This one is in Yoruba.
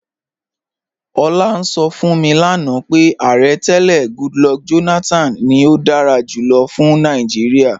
Ọ̀lá ǹ sọ̀ fún mi lánà pé Ààrẹ̀ tẹlẹ̀ Goodluck Jonathan ni ó dára júlọ̀ fún Nàìjíríà.